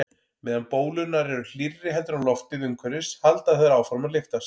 Meðan bólurnar eru hlýrri heldur en loftið umhverfis halda þær áfram að lyftast.